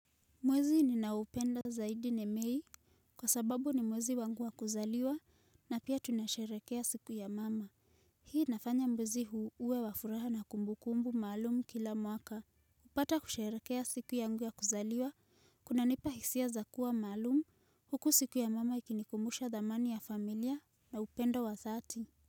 Mwezi ninaupenda zaidi ni mei kwasababu ni mwezi wangu wa kuzaliwa na pia tunasherekea siku ya mama. Hii inafanya mwezi huu uwe wa furaha na kumbukumbu maalumu kila mwaka. Kupata kusharekea siku yangu ya kuzaliwa kuna nipa hisia za kuwa maalumu huku siku ya mama ikinikumbusha dhamani ya familia na upenda wa dhati.